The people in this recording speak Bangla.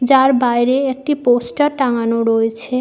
যার বাইরে একটি পোস্টার টাঙানো রয়েছে।